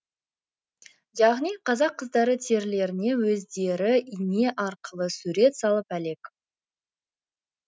яғни қазақ қыздары терілеріне өздері ине арқылы сурет салып әлек